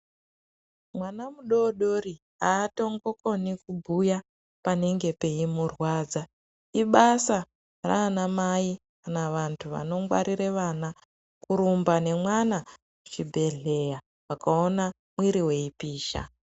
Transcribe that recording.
Mwana mu dodori atombo koni kubhuya panenge peyimu rwadza ibasa rana mai kana vantu vano ngwarira vana kurumba ne mwana ku chi bhedhlera vakaona mwiri weyi pisha.